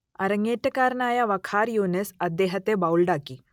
അരങ്ങേറ്റക്കാരനായ വഖാർ യൂനിസ് അദ്ദേഹത്തെ ബൗൾഡാക്കി